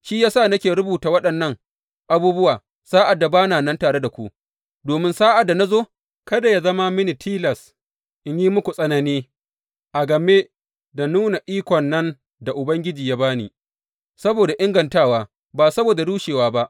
Shi ya sa nake rubuta waɗannan abubuwa, sa’ad da ba na nan tare da ku, domin sa’ad da na zo, kada yă zama mini tilas in yi muku tsanani a game da nuna ikon nan da Ubangiji ya ba ni saboda ingantawa, ba saboda rushewa ba.